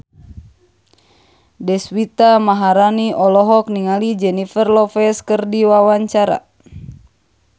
Deswita Maharani olohok ningali Jennifer Lopez keur diwawancara